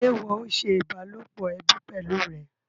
Ṣé ìwọ o ṣe ìbálòpọ̀ ẹbí pẹlú rẹ?